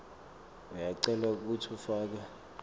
uyacelwa kutsi ufake